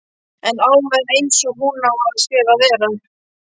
En Alma er einsog hún á að sér að vera.